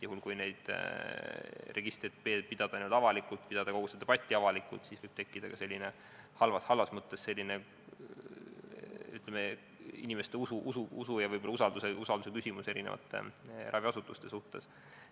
Juhul kui neid registreid pidada avalikult, pidada kogu seda debatti avalikult, siis võib tekkida ka halvas mõttes usu ja usalduse küsimus eri raviasutuste suhtes.